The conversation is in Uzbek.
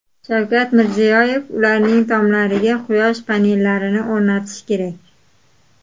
Shavkat Mirziyoyev: Uylarning tomlariga quyosh panellarini o‘rnatish kerak .